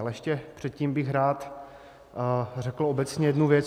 Ale ještě předtím bych rád řekl obecně jednu věc.